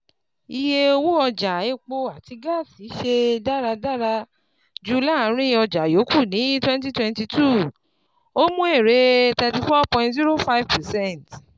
Iye owó ọjà epo àti gáàsì ṣe dáradára jù láàrin ọjà yòókù ní 2022, ó mú èrè 34.05 percent.